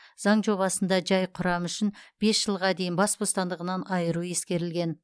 заң жобасында жай құрам үшін бес жылға дейін бас бостандығынан айыру ескерілген